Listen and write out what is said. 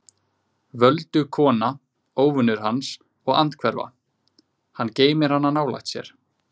Voldug kona, óvinur hans og andhverfa: hann geymir hana nálægt sér.